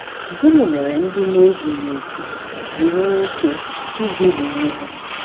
Gịnị mere ndị na-ezughị okè ji nwee ike iduhie onwe ha?